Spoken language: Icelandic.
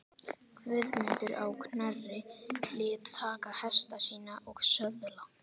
Guðmundur á Knerri lét taka hesta sína og söðla.